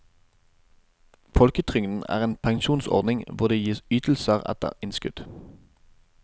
Folketrygden er en pensjonsordning hvor det gis ytelse etter innskudd.